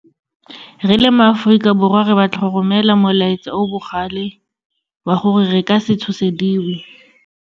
Re le ma-Aforika Borwa, re batla go romela molaetsa o o bogale wa gore re ka se tshosediwe.